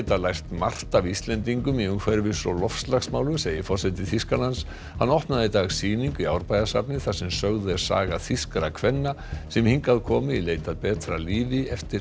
lært margt af Íslendingum í umhverfis og loftslagsmálum segir forseti Þýskalands hann opnaði í dag sýningu í Árbæjarsafni þar sem sögð er saga þýskra kvenna sem hingað komu í leit að betra lífi eftir